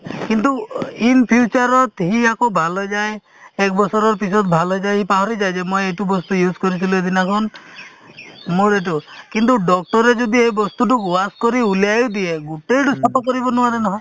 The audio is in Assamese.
কিন্তু in future ত সি আকৌ ভাল হৈ যায় একবছৰৰ পিছত ভাল হৈ যায় সি পাহৰি যায় যে মই এইটো বস্তু use কৰিছিলো এদিনাখন মোৰ এইটো কিন্তু doctor ৰে যদি এই বস্তুতোক wash কৰি উলিয়াইও দিয়ে গোটেইতো চাফা কৰিব নোৱাৰে নহয়